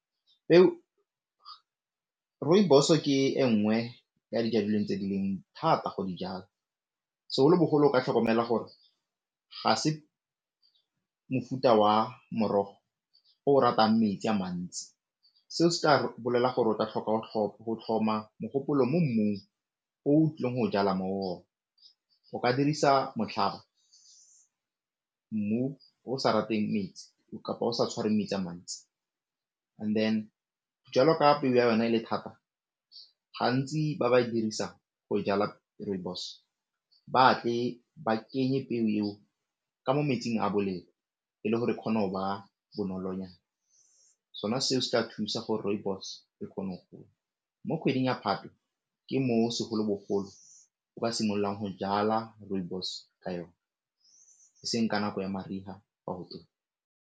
Rooibos ke e nngwe ya dijalo tse di leng thata go di jala, segolobogolo ka tlhokomela gore ga se mofuta wa morogo o ratang metsi a mantsi seo se ka bolela gore o tla tlhoka go tlhoma mogopolo mo mmung o tlileng o jala mo go ona. O ka dirisa motlhaba, mmu o sa rateng metsi, kapa o sa tshwarweng metsi a mantsi, and then jwalo ka peo ya yona e le thata, gantsi ba ba e dirisang go jala rooibos, ba a tle ba kenye peo eo ka mo metsing a bolelo e le gore kgona o ba bonolonyana sona se se tla thusa gore rooibos e kgone go gola. Mo kgweding ya Phatwe ke mo segolobogolo o ka simololang go jala rooibos ka yone e seng ka nako ya mariga .